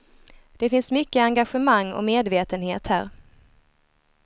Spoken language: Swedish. Det finns mycket engagemang och medvetenhet här.